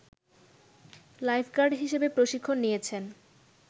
lifeguard হিসেবে প্রশিক্ষণ নিয়েছেন